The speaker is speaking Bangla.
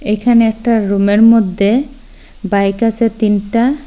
এইখানে একটা রুমের মদ্যে বাইক আসে তিনটা।